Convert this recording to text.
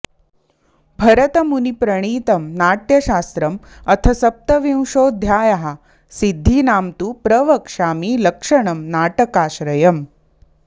भरतमुनिप्रणीतं नाट्यशास्त्रम् अथ सप्तविंशोऽध्यायः सिद्धीनां तु प्रवक्ष्यामि लक्षणं नाटकाश्रयम्